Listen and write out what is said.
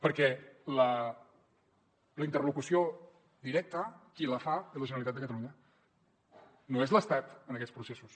perquè la interlocució directa qui la fa és la generalitat de catalunya no és l’estat en aquests processos